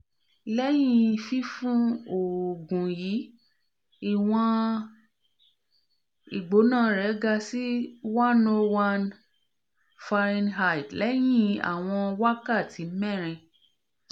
lẹhin fifun oogun yii iwọn igbona re ga si one hundred one +f lẹhin awọn wakati merin